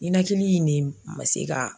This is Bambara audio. Ninakili in de ma se ka.